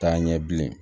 Taa ɲɛ bilen